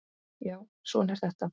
Já, svona er þetta.